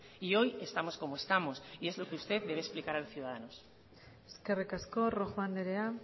y hoy estamos como estamos y es lo que usted debe explicar a los ciudadanos eskerrik asko rojo andrea